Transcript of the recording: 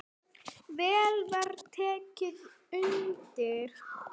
Vel var tekið undir.